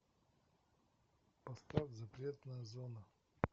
поставь запретная зона